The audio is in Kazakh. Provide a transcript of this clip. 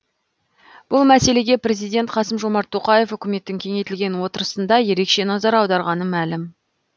бұл мәселеге президент қасым жомарт тоқаев үкіметтің кеңейтілген отырысында ерекше назар аударғаны мәлім